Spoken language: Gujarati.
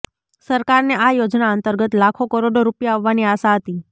સરકારને આ યોજના અંતર્ગત લાખો કરોડો રૂપિયા આવવાની આશા હતી